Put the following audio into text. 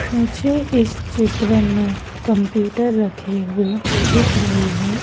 मुझे इस चित्र में कंप्यूटर रखे हुए दिख रहे है।